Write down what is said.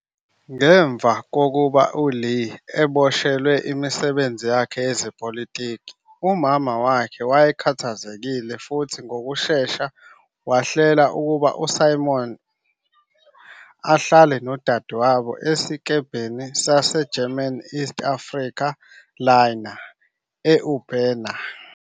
Ngemva kokuba uLeah eboshelwe imisebenzi yakhe yezepolitiki, umama wakhe wayekhathazekile futhi ngokushesha wahlela ukuba uSimons ahlale nodadewabo esikebheni saseGerman East Afrika Liner, e-Ubena.